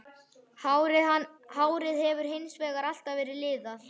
Hárið hefur hins vegar alltaf verið liðað.